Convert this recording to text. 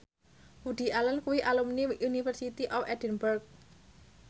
Woody Allen kuwi alumni University of Edinburgh